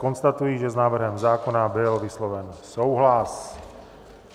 Konstatuji, že s návrhem zákona byl vysloven souhlas.